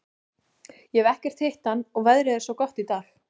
Ég hef ekkert hitt hann og veðrið er svo gott í dag.